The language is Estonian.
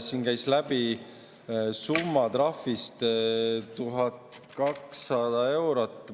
Siin käis läbi trahvisumma 1200 eurot.